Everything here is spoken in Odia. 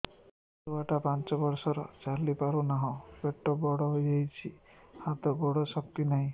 ଛୁଆଟା ପାଞ୍ଚ ବର୍ଷର ଚାଲି ପାରୁନାହଁ ପେଟ ବଡ ହୋଇ ଯାଉଛି ହାତ ଗୋଡ଼ର ଶକ୍ତି ନାହିଁ